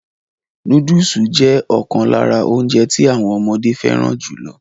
Núdùsù jẹ́ ọ̀kan lára óúnjẹ tí àwọn ọmọdé fẹràn jùlọ.